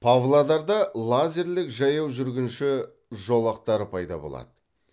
павлодарда лазерлік жаяу жүргінші жолақтары пайда болады